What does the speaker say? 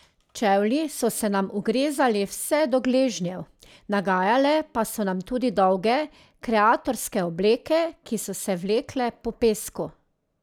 Čevlji so se nam ugrezali vse do gležnjev, nagajale pa so nam tudi dolge kreatorske obleke, ki so se vlekle po pesku.